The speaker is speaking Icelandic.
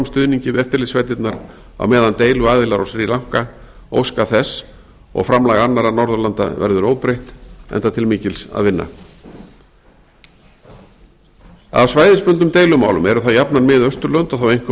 stuðningi við eftirlitssveitirnar á meðan deiluaðilar á sri lanka óska þess og framlag annarra norðurlanda verður óbreytt enda til mikils að vinna af svæðisbundnum deilumálum eru það jafnan mið austurlönd og þá einkum